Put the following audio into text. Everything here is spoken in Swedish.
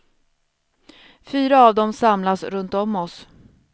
Fyra av dem samlas runtom oss.